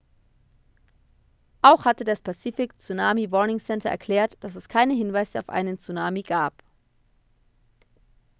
auch hatte das pacific tsunami warning center erklärt dass es keine hinweise auf einen tsunami gab